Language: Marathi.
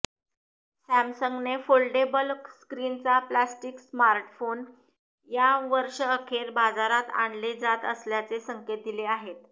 सॅमसंगने फोल्डेबल स्क्रिनचा प्लॅस्टीक स्मार्टफोन या वर्ष्रअखेर बाजारात आणले जात असल्याचे संकेत दिले आहेत